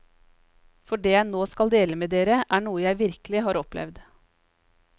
For det jeg nå skal dele med dere, er noe jeg virkelig har opplevd.